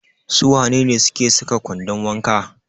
Su wane ne suke saka kwandon wanka?